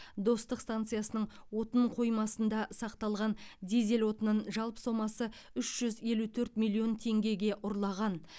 достық станциясының отын қоймасында сақталған дизель отынын жалпы сомасы үш жүз елу төрт миллион теңгеге ұрлаған